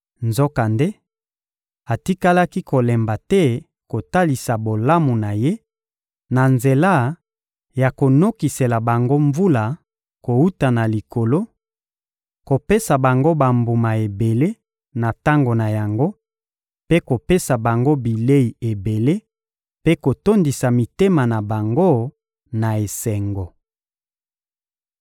Nzokande, atikalaki kolemba te kotalisa bolamu na Ye, na nzela ya konokisela bango mvula kowuta na likolo, kopesa bango bambuma ebele na tango na yango, mpe kopesa bango bilei ebele mpe kotondisa mitema na bango na esengo.